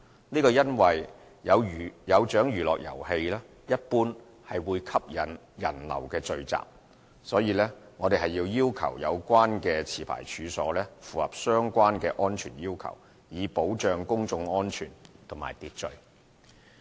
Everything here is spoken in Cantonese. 這是因為"有獎娛樂遊戲"一般會吸引人流聚集，因此我們要求有關持牌處所符合相關的安全要求，以保障公眾安全和秩序。